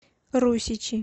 русичи